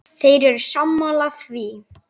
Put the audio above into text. Þeir eru sammála því.